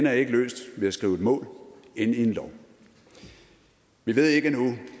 er ikke løst ved at skrive et mål ind i en lov vi ved ikke endnu